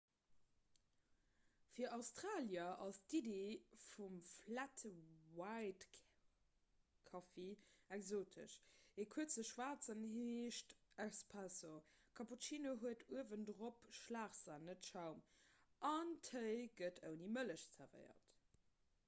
fir australier ass d'iddi vum 'flat white'-kaffi exotesch. e kuerze schwaarzen heescht 'espresso' cappuccino huet uewendrop schlagsan net schaum an téi gëtt ouni mëllech zerwéiert